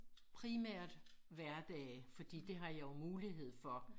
Primært hverdage fordi det har jeg jo mulighed for